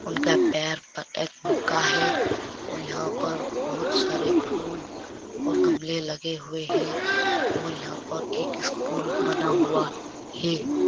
उनका पैर पर एक मग़ा है और यहाँ पर बहोत सारे फूल और गमले लगे हुए हैं और यहाँ पर एक स्कूल बना हुआ है